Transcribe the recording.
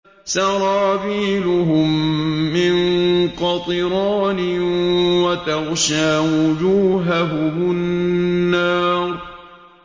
سَرَابِيلُهُم مِّن قَطِرَانٍ وَتَغْشَىٰ وُجُوهَهُمُ النَّارُ